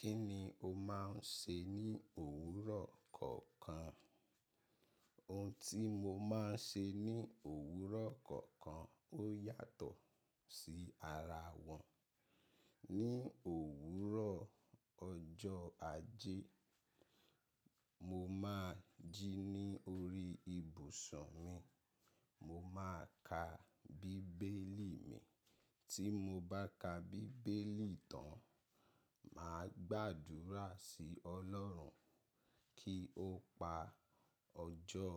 Kí ni o máa ń ṣe ní òwúrọ̀ kọ̀ọ̀kan? Ohun tí mo máa ń ṣe ní òwúrọ̀ kọ̀ọ̀kan ó yàtọ̀ sí ara wọn. Ni òwúrọ̀ ọjọ́ Ajé, mo máa jí ní orí ibùsùn mi, mo máa ka bíbélì mi. Tí mo bá ka bíbélì tán, màá gbàdúrà sí Ọlọ́run kí ó pa ọjọ́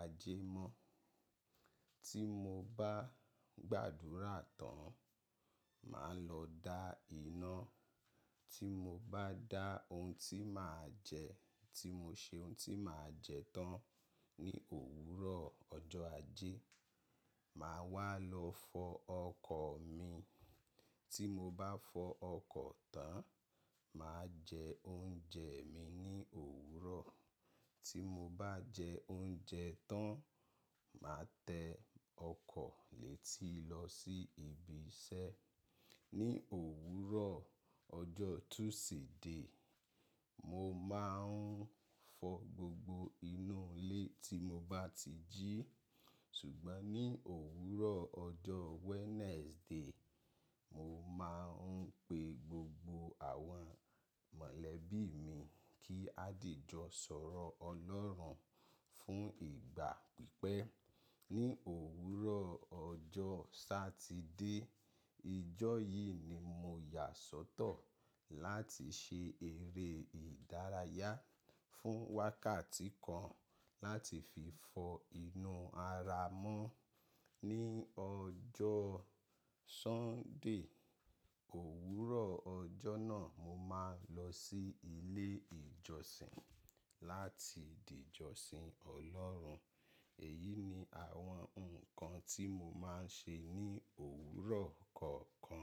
Ajé mọ́. Tí mo bá gbàdúrà tán, màá lọ dá iná. Tí mo bá dá ohun tí màá jẹ, tí mo ṣe ohun tí màá jẹ tán ní òwúrọ̀ ọjọ́ Ajé, màá wá lọ fọ ọkọ̀ mi. Tí mo bá fọ ọkọ̀ tán, màá jẹ oúnjẹ mi ní òwúrọ̀. Tí mo bá jẹ oúnjẹ tán, màá tẹ ọkọ̀ létí lọ sí ibi iṣẹ́. Ni òwúrọ̀ ọjọ́ Tuesday, mo máa ń fọ gbogbo inú ilé tí mo bá ti jí. Ṣùgbọ́n ní òwúrọ̀ ọjọ́ Wednesday, mo máa ń pe gbogbo àwọn mọ̀lẹ́bí mi kí á dìjọ sọ̀rọ̀ Ọlọ́run fún ìgbà pípẹ́. Ni òwúrọ̀ ọjọ́ Satide, ijọ́ yìí ni mo yà sọ́tọ̀ láti ṣe eré ìdárayá fún wákàtí kan láti fi fọ inú ara mọ́. Ni ọjọ́ Sunday, òwúrọ̀ ọjọ́ náà mo máa ń lọ sí ilé ìjọsìn láti dìjọsìn Ọlọ́run. Èyí ni àwọn nǹkan tí mo máa ń ṣe ní òwúrọ̀ kọ̀ọ̀kan.